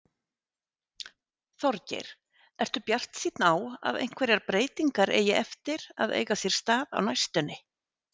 Þorgeir: Ertu bjartsýnn á að einhverjar breytingar eigi eftir að eiga sér stað á næstunni?